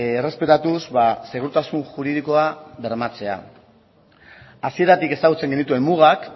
errespetatuz segurtasun juridikoa bermatzea hasieratik ezagutzen genituen mugak